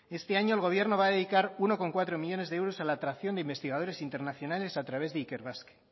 este año el gobierno va a dedicar uno coma cuatro millónes de euros a la tracción de investigadores internacionales a través de ikerbasque